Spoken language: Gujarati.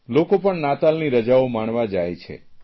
લોકો પણ નાતાલની રજાઓ માણવા જાય છે